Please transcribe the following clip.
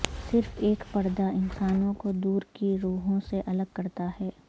صرف ایک پردہ انسانوں کو دور کی روحوں سے الگ کرتا ہے